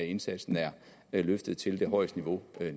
indsatsen er løftet til det højeste niveau